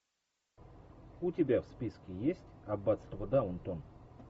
у тебя в списке есть аббатство даунтон